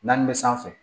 Naani bɛ sanfɛ